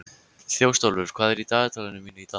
Þjóstólfur, hvað er í dagatalinu mínu í dag?